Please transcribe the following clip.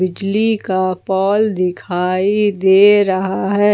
बिजली का पोल दिखाई दे रहा है।